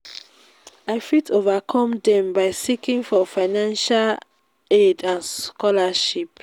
i fit overcome dem by seeking for financial aid and scholarships.